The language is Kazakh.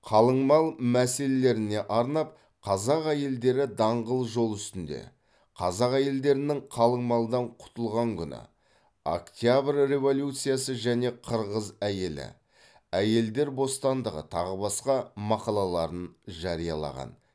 қалыңмал мәселелеріне арнап қазақ әйелдері даңғыл жол үстінде қазақ әйелдерінің қалыңмалдан құтылған күні октябрь революциясы және қырғыз әйелі әйелдер бостандығы тағы басқа мақалаларын жариялаған